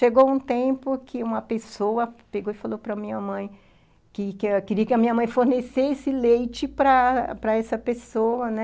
Chegou um tempo que uma pessoa pegou e falou para minha mãe que queria que a minha mãe fornecesse leite para para essa pessoa, né?